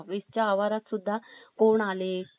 कोणआले कोण होते कोण गेले